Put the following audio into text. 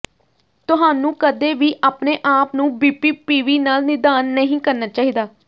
ਤੁਹਾਨੂੰ ਕਦੇ ਵੀ ਆਪਣੇ ਆਪ ਨੂੰ ਬੀਪੀਪੀਵੀ ਨਾਲ ਨਿਦਾਨ ਨਹੀਂ ਕਰਨਾ ਚਾਹੀਦਾ